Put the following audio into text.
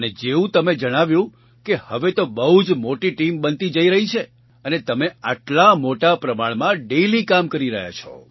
અને જેવું તમે જણાવ્યું કે હવે તો બહુ જ મોટી ટીમ બનતી જઈ રહી છે અને તમે આટલા મોટા પ્રમાણમાં ડેઇલી કામ કરી રહ્યા છો